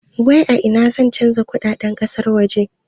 A ina zan canja kudaden kasar waje?